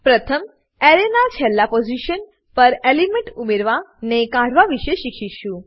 પ્રથમ એરેના છેલ્લા પોઝીશન પર એલિમેન્ટ ઉમેરવા ને કાઢવા વિષે શીખીશું